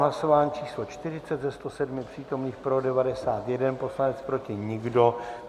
Hlasování číslo 40, ze 107 přítomných pro 91 poslanec, proti nikdo.